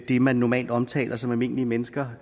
det man normalt omtaler som almindelige mennesker